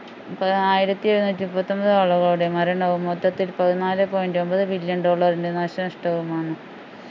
ഇപ്പൊ ആയിരത്തി എഴുന്നൂറ്റി മുപ്പത്തിയൊമ്പത് ആളുകളുടെ മരണവും മൊത്തത്തിൽ പതിനാല് point ഒമ്പത് billion dollar ന്റെ നാശനഷ്ടവുമാണ്